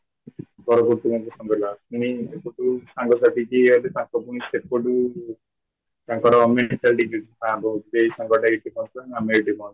min ଯୋଉଠୁ ସାଙ୍ଗ ସାଥି ଯୋଉଠୁ ଯିଏ ହେଲେ ତାଙ୍କ ସେପଟୁ ତାଙ୍କର ଡିଜିଟ ହଉଚି ଜେ ଏଇ ସାଙ୍ଗଟା ଏଇଠି ଏଇଠି